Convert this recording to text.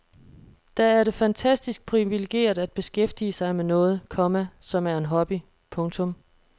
Da er det fantastisk privilegeret at beskæftige sig med noget, komma som er en hobby. punktum